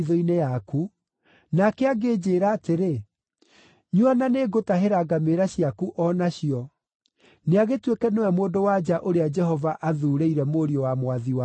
nake angĩnjĩĩra atĩrĩ, “Nyua na nĩngũtahĩra ngamĩĩra ciaku o nacio,” nĩagĩtuĩke nĩwe mũndũ-wa-nja ũrĩa Jehova athuurĩire mũriũ wa mwathi wakwa.’